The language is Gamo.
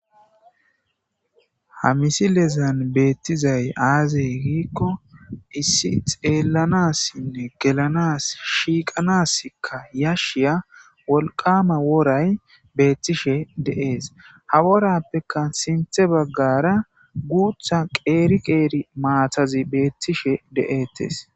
Ha misi lezan beettizay aazey giikko issi xeellanassinne gelanas shiiqanaskka yashshiya wolqama woray beettishe de7ees ha worappeka sinthe baggara guutha qeeri qeeri maatazi beettishe de7eettes